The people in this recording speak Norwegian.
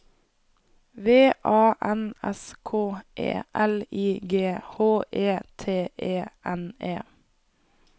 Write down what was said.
V A N S K E L I G H E T E N E